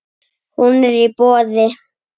Hún er í boði.